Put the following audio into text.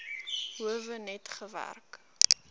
howe net gewerk